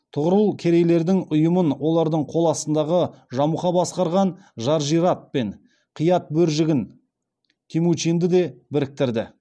тұғырыл керейлердің ұйымын олардың қол астындағы жамұха басқарған жаржират пен қиатбөржігін темучинді де біріктіреді